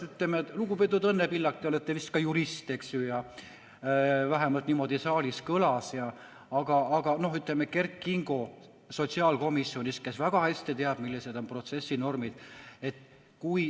Lugupeetud Õnne Pillak, te olete vist ka jurist, eks ju, vähemalt niimoodi saalis kõlas, aga Kert Kingo, kes on ka sotsiaalkomisjonis, teab väga hästi, millised on protsessinormid.